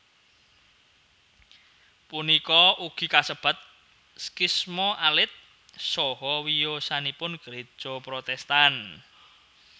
Punika ugi kasebat skhisma alit saha wiyosanipun Gréja Protestan